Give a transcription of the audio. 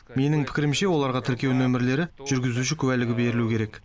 менің пікірімше оларға тіркеу нөмірлері жүргізуші куәлігі берілуі керек